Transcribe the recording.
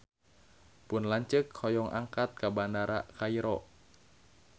Pun lanceuk hoyong angkat ka Bandara Kairo